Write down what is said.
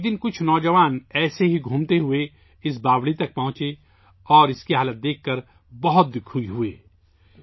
ایک دن کچھ نوجوان اسی طرح گھومتے پھرتے اس سیڑھی پر پہنچے اور اس کی حالت دیکھ کر بہت دکھی ہوئے